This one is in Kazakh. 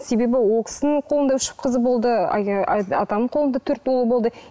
себебі ол кісінің қолында үш қызы болды атамның қолында төрт бала болды